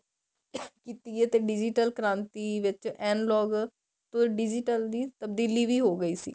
ਕੀਤੀ ਏ ਤੇ digital ਕ੍ਰਾਂਤੀ ਵਿੱਚ an log digital ਦੀ ਤਬਦੀਲੀ ਵੀ ਹੋ ਗਈ ਸੀ